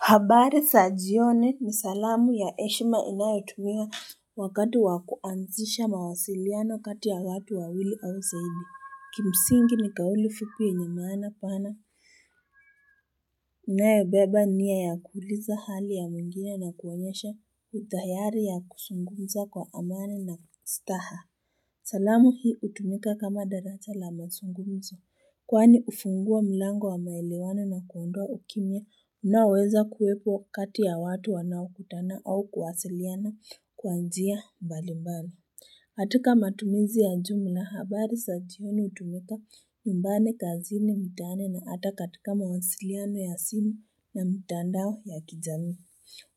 Habari sa jioni ni salamu ya heshima inayotumia wakati wakuanzisha mawasiliano kati ya watu wawili au zaidi. Kimsingi ni kauli fukuye nyamana pana, inayobeba nia ya kuliza hali ya mwingine na kuwanyesha utayari ya kusungumza kwa amani na staha. Salamu hii utumika kama daracha la masungumzo. Kwani ufungua milango wa maelewane na kuondwa ukimya, unaweza kuwepo kati ya watu wanao kutana au kuwasiliana kwa njia mbalimbali. Atika matumizi ya jumla, habari sajioni utumika nyumbani kazini mitaani na ata katika mawasiliano ya simu na mitandao ya kijami.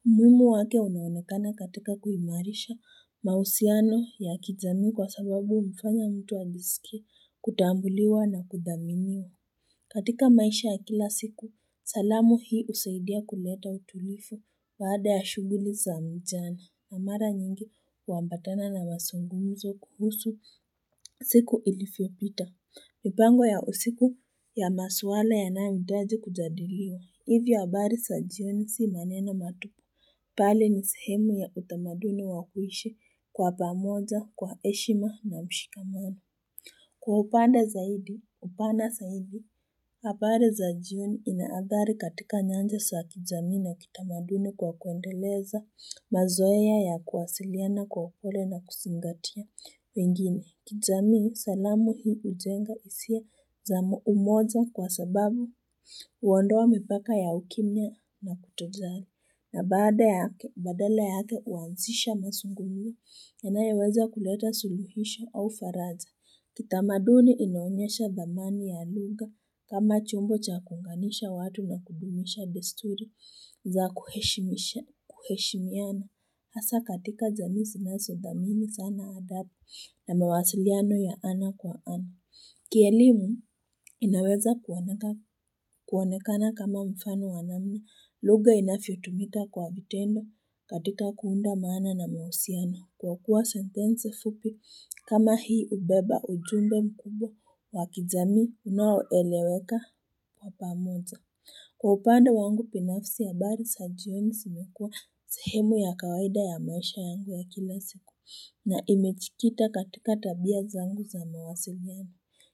Umuhimu wake unaonekana katika kuimarisha mahusiano ya kijamii kwa sababu mfanya mtu alisikia kutambuliwa na kudaminiwa. Katika maisha ya kila siku, salamu hii usaidia kuleta utulifu baada ya shughuli za mjani na mara nyingi uambatana na wazungumizo kuhusu siku ilifio pita. Nipango ya usiku ya maswala ya nangitaji kujadiliwa, hivyo habari sajioni si manena matupu. Pali ni sehemu ya utamaduni wakuishe kwa pamoja, kwa eshima na mshikamano. Kwa upanda zaidi, upana zaidi, habari za jioni inaadhari katika nyanja saakijami na kitamaduni kwa kuendeleza mazoea ya kuwasiliana kwa upole na kusingatia. Wengine, kijamii salamu hii ujenga usia za umoja kwa sababu uondoa mipaka ya ukimya na kutozali, na badala yake uanzisha masungulia, enayeweza kuleta suluhisha au faraga. Kitamaduni inaonyesha dhamani ya lugha kama chumbo chakunganisha watu na kubimisha desturi za kuheshimia na. Asa katika jamii naso dhamini sana adapa na mawasiliano ya ana kwa ana. Kielimu inaweza kuwanekana kama mfano wanami. Lughaa inafiotumika kwa vitendo katika kuunda maana na mahusiana. Kwa kuwa sentense fupi kama hii ubeba ujumbe mkubwa wa kijamii unawoeleweka wapa pamoja. Kwa upande wangu binafsi, habari sajioni simekua sehemu ya kawaida ya maisha yangu ya kila siku. Na imechikita katika tabia zangu za mawasili nemi.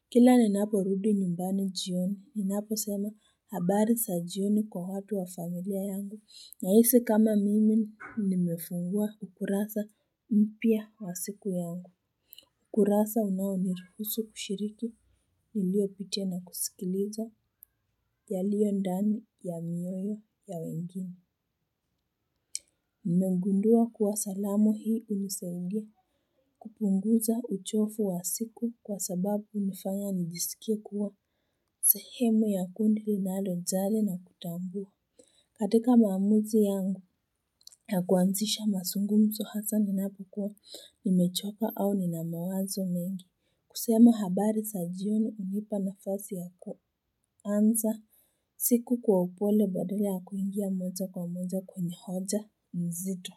Kila ninaporudi nyumbani jioni, ninapo sema habari za jioni kwa watu wa familia yangu. Nya hisi kama mimi nimefungua ukurasa mpya wa siku yangu. Ukurasa unawanirufusu kushiriki niliopite na kusikiliza ya liyo ndani ya mioyo ya wengine. Nmengundua kuwa salamu hii uniseungia kupunguza uchofu wa siku kwa sababu unifanya nidisikia kuwa sahemo ya kundi linalo zale na kutambu. Katika maamuzi yangu ya kuanzisha mazungumzo hasa ninapukua nimechoka au ni na mawazo mengi. Kusema habari za jion unipa nafasi ya kuanza siku kwa upole badale ya kuingia moja kwa moja kwenye hoja mzito.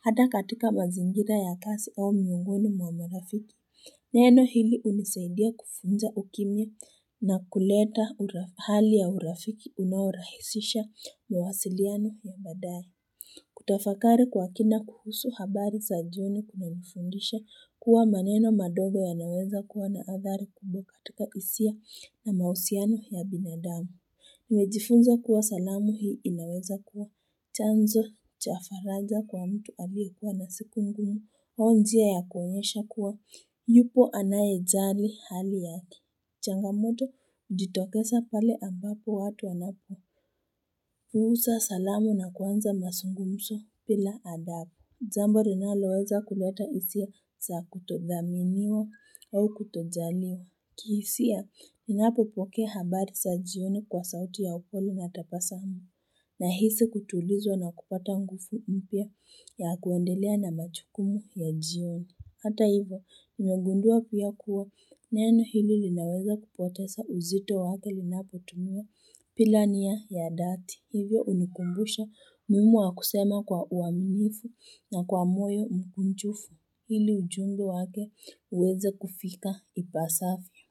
Hata katika mazingira ya kasi au miungonu mwamarafiki, neno hili unisaidia kufunza ukimya na kuleta hali ya urafiki unaurahisisha mawasiliano ya badari. Kutafakari kwa kina kuhusu habari za jion kuna mifundisha kuwa maneno madogo ya naweza kuwa na athari kubwa katika hisia na mahusiano ya binadamu. Nimejifunza kuwa salamu hii inaweza kuwa chanzo cha faraga kwa mtu alie kuwa na siku ngumu njia ya kuonyesha kuwa yupo anaye zali hali yati changamoto ditokesa pale ambapo watu wanapo Huusa salamu na kuanza mazungumzo pila adapo jambo linaloweza kuleta hisia za kutodhaminiwa au kutodhaliwa kihisia, ninapopoke habari sa jioni kwa sauti ya upoli natapasami nahisi kutulizwa na kupata ngufu mpia ya kuendelea na machukumu ya jioni. Hata hivo, nimegundua pia kuwa neno hili linaweza kupotesa uzito wake linapo tumua pilania ya dati. Hivyo unikumbusha muhimu wa kusema kwa uaminifu na kwa moyo mpunchufu. Hili ujungo wake uweze kufika ipasavyo.